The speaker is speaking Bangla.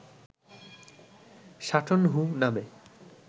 সাটন হু নামে